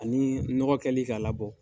Ani nɔgɔkɛli k'a labɔ.